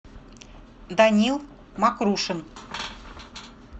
данил мокрушин